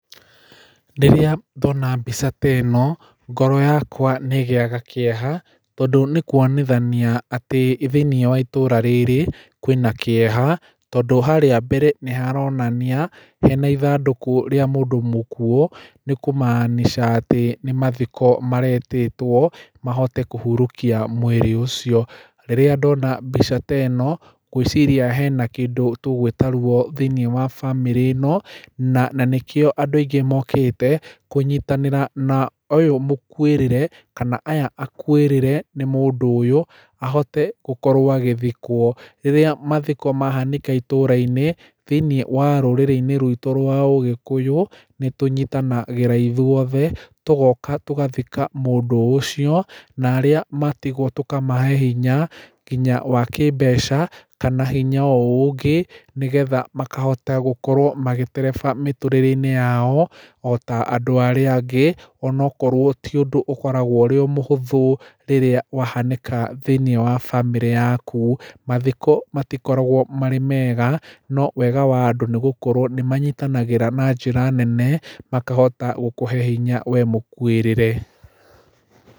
Rĩrĩa ndona mbica ta ĩno, ngoro yakwa nĩ ĩgĩaga kĩeha, tondũ nĩ kuonithania atĩ thĩiniĩ wa itũũra rĩrĩ, kwĩna kĩeha, tondũ harĩa mbere nĩ haronania hena ithandũkũ rĩa mũndũ mũkuuo. Nĩ kumaanisha atĩ nĩ mathiko maretĩtwo, mahote kũhurũkia mwĩrĩ ũcio. Rĩrĩa ndona mbica ta ĩno, ngwĩciria hena kĩndũ tũgũĩta ruo thĩiniĩ wa bamĩrĩ ĩno, na na nĩkĩo andũ aingĩ mokĩte, kũnyitanĩra na ũyũ mũkuĩrĩre, kana aya akuĩrĩre nĩ mũndũ ũyũ, ahote gũkorwo agĩthikwo. Rĩrĩa mathiko mahanĩka itũũra-inĩ, thĩiniĩ wa rũrĩrĩ-inĩ ruitũ rwa Ũgĩkũyũ, nĩ tũnyitanagĩra ithuothe, tũgoka tũgathika mũndũ ũcio. Na arĩa matigwo tũkamahe hinya, nginya wa kĩmbeca, kana hinya o ũngĩ, nĩgetha makahota gũkorwo magĩtereba mĩtũrĩre-inĩ yao o ta andũ arĩa angĩ. Onokorwo ti ũndũ ũkoragwo ũrĩ o mũhũthũ rĩrĩa wahanĩka thĩiniĩ wa bamĩrĩ yaku. Mathiko matikoragwo marĩ mega, no wega wa andũ nĩgũkorwo nĩ manyitanagĩra na njĩra nene, makahota gũkũhe hinya we mũkuĩrĩre.